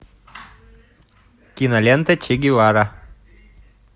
кинолента че гевара